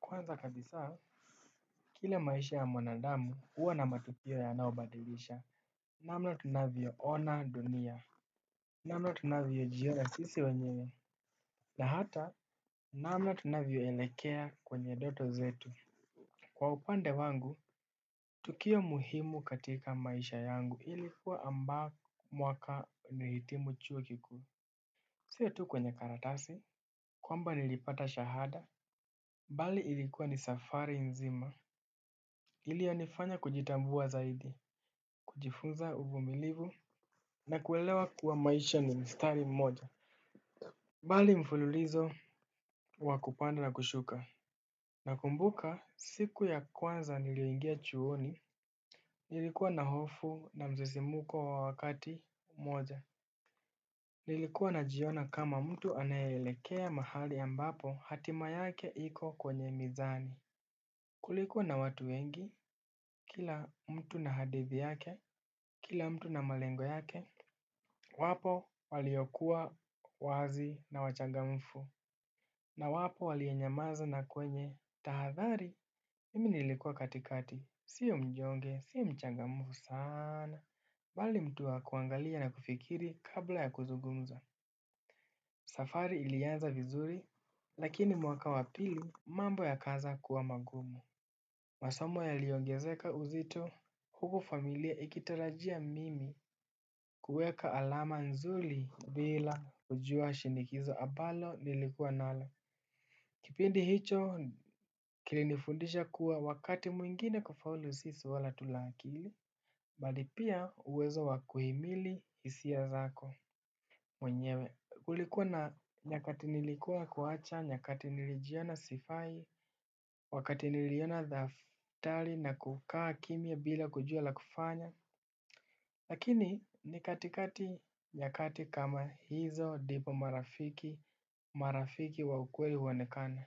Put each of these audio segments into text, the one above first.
Kwanza kabisa, kila maisha ya mwanadamu huwa na matukio yanayobadilisha. Namna tunavyo ona dunia. Namna tunavyo jiona sisi wenyewe. Na hata, namna tunavyo elekea kwenye doto zetu. Kwa upande wangu, tukio muhimu katika maisha yangu ilikuwa amba mwaka nilihitimu chuo kikuu. Sio tu kwenye karatasi kwamba nilipata shahada bali ilikuwa ni safari nzima iliyo nifanya kujitambua zaidi, kujifunza uvumilivu na kuelewa kuwa maisha ni mstari mmoja. Bali mfululizo wakupanda na kushuka. Nakumbuka siku ya kwanza niliyoingia chuoni. Nilikuwa na hofu na mzizumuko wa wakati mmoja. Nilikuwa najiona kama mtu anayeelekea mahali ambapo hatima yake iko kwenye mizani. Kulikuwa na watu wengi, kila mtu na hadithi yake, kila mtu na malengo yake. Wapo waliokuwa wazi na wachangamfu. Na wapo waliyenyamaza na kwenye tahathari mimi nilikuwa katikati. Sio mnyonge, sio mchangamfu sana bali mtu wakuangalia na kufikiri kabla ya kuzugumza. Safari ilianza vizuri, lakini mwaka wapili mambo ya kaanza kuwa magumu. Masomo yaliongezeka uzito huku familia ikitarajia mimi kuweka alama nzuli bila kujuwa shinikizo abalo nilikuwa nalo. Kipindi hicho kilinifundisha kuwa wakati mwingine kufaulu si swala tu la akili bali pia uwezo wakuhimili hisia zako. Mwenyewe kulikuwa na nyakati nilikuwa kuacha nyakati nilijiona sifai. Wakati niliona thaftali na kukaa kimia bila kujua la kufanya. Lakini ni katikati ya kati kama hizo dipo marafiki marafiki wa ukweli huonekana.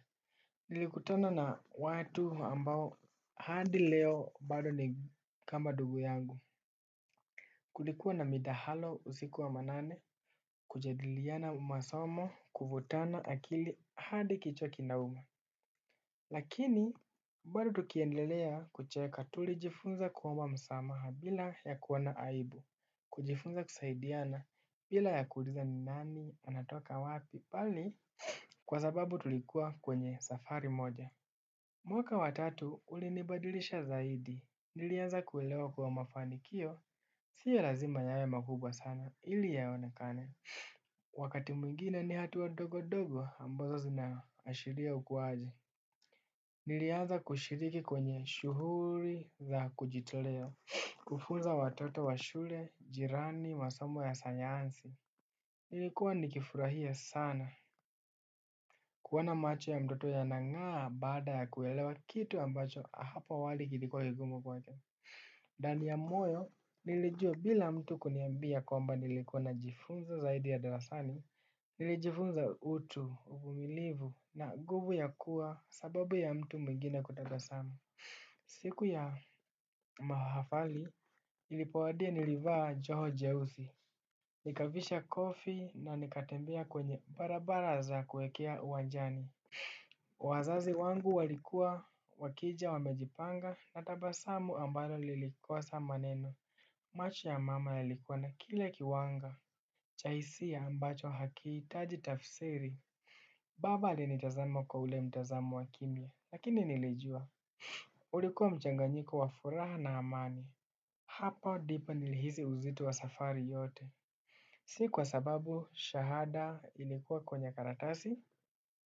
Nilikutana na watu ambao hadi leo bado ni kama dugu yangu. Kulikuwa na midahalo usiku wa manane kujadiliana masomo kuvutana akili hadi kichwa kina uma. Lakini bado tukiendelea kucheka tulijifunza kuomba msamaha bila ya kuoana aibu. Kujifunza kusaidiana bila ya kuuliza ni nani anatoka wapi bali kwa sababu tulikuwa kwenye safari moja. Mwaka watatu ulinibadilisha zaidi nilianza kuelewa kuwa mafanikio siyo lazima yawe makubwa sana ili yaonakane. Wakati mwingine ni hatuwa dogo dogo ambazo zinaashiria ukuwaji. Niliaza kushiriki kwenye shuhuri za kujitolea kufunza watoto wa shule, jirani, masomo ya sanyansi. Nilikuwa nikifurahia sana kuona macho ya mtoto yanangaa bada ya kuelewa kitu ambacho hapo awali kilikuwa kigumu kwake. Ndani ya moyo, nilijua bila mtu kuniambia kwamba nilikuwa na jifunza zaidi ya darasani. Nilijifunza utu uvumilivu na guvu ya kuwa sababu ya mtu mwingine kutabasamu. Siku ya mahafali, ilipowadia nilivaa joho jeusi. Nikavisha kofi na nikatembea kwenye barabara za kuekea uwanjani. Wazazi wangu walikua wakija wamejipanga na tabasamu ambalo lilikosa maneno. Macho ya mama yalikuwa na kile kiwanga. Cha hisia ambacho hakihitaji tafsiri. Baba alinitazama kwa ule mtazamo waki ukimya lakini nilijua ulikuwa mchanganyiko wa furaha na amani. Hapa ndipo nilihisi uzito wa safari yote. Si kwa sababu shahada ilikuwa kwenye karatasi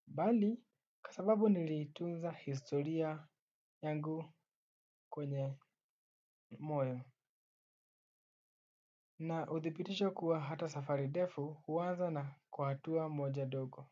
bali kwa sababu nilitunza historia yangu kwenye moyo. Na uthibitisho kuwa hata safari ndefu huanza na kwa hatua moja dogo.